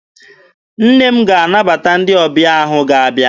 Nne m ga-anabata ndị ọbịa ahụ ga-abịa.